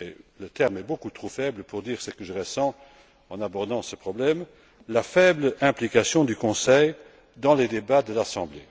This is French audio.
et le terme est beaucoup trop faible pour dire ce que je ressens en abordant ce problème implication du Conseil dans les débats de l'Assemblée.